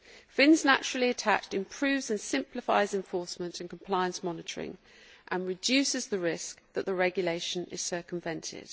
Fins naturally attached' improves and simplifies enforcement and compliance monitoring and reduces the risk of the regulation being circumvented.